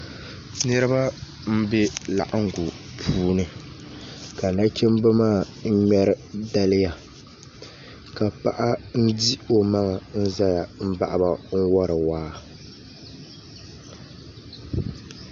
Niraba n bɛ laɣangu puuni ka nachimbi maa ŋmɛri dala ka paɣa di o maŋa n ʒɛya n baɣaba n wori waa